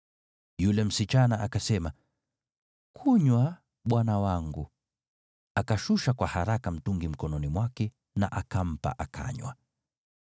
Yule msichana akasema, “Kunywa, bwana wangu.” Akashusha kwa haraka mtungi mkononi mwake na akampa, akanywa.